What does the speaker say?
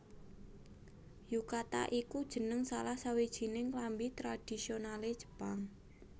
Yukata iku jeneng salah sawijining klambi tradhisionalé Jepang